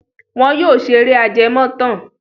Wọn yóò ṣeré ajẹmọ́tàn.